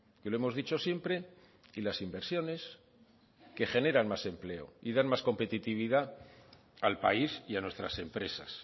que lo hemos dicho siempre y las inversiones que generan más empleo y dan más competitividad al país y a nuestras empresas